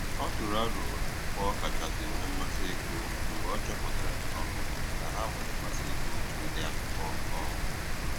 Ọ tụrụ aro akwụkwọ ọ kachasị nwee mmasị ịgụ mgbe ọ chọpụtara um na ha nwere mmasị ịgụ otu ụdị akwụkwọ um